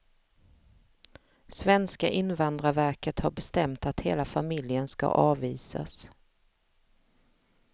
Svenska invandrarverket har bestämt att hela familjen ska avvisas.